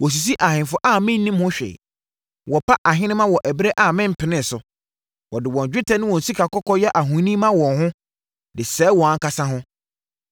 Wɔsisi ahemfo a mennim ho hwee wɔpa ahenemma wɔ ɛberɛ a mempenee so. Wɔde wɔn dwetɛ ne wɔn sikakɔkɔɔ yɛ ahoni ma wɔn ho de sɛeɛ wɔn ankasa ho.